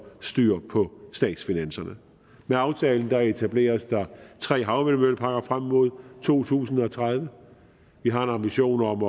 styr på statsfinanserne med aftalen etableres der tre havvindmølleparker frem mod to tusind og tredive vi har en ambition om